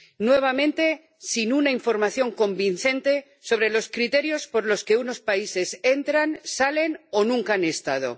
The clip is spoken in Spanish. nuevamente, sin una información convincente sobre los criterios por los que unos países entran, salen o nunca han estado.